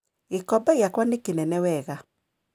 Gĩkombe gĩakwa nĩ kĩnene wega.